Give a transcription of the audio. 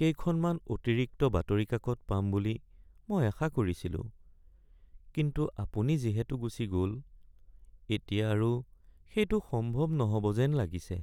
কেইখনমান অতিৰিক্ত বাতৰি কাকত পাম বুলি মই আশা কৰিছিলোঁ কিন্তু আপুনি যিহেতু গুচি গ’ল এতিয়া আৰু সেইটো সম্ভৱ নহ’ব যেন লাগিছে।